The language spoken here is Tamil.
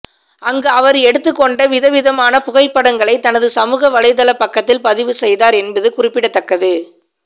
அங்கு அவர் எடுத்துக்கொண்ட விதவிதமான புகைப்படங்களை தனது சமூக வலைதளப் பக்கத்தில் பதிவு செய்தார் என்பது குறிப்பிடத்தக்கது